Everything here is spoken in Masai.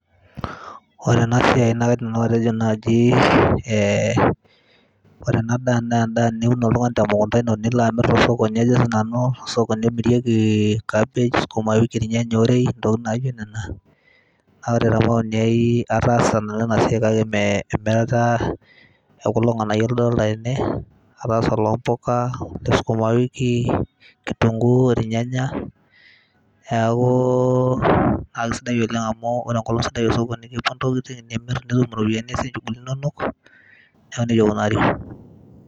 ore ena siai naa kaidim nanu atejo naaji eeh, ore ena daa naa endaa niun oltung'ani te mukunta ino nilo amirr tosokoni ajo sinanu tosokoni omirieki cabbage sukumawiki irnyanya orei intokitin naijo nena naa ore te maoni ai ataasa nanu ena siai kake mee emirata ekulo ng'anayio ladolta tene ataasa olompuka ole sukumawiki[ kitunguu irnyanya niaku naa kisidai oleng amu ore enkolong sidai osokoni kepuo intokitin nimirr nitum iropiyiani niasie intokitin inonok niaku nejia ikunari.